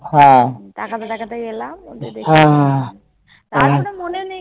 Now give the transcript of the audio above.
হ্যাঁ তাকাতে তাকাতে গেলাম তারপর মনে নেই